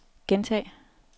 gentag